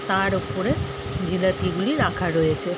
তার ওপরে জিলাপিগুলি রাখা রয়েছে।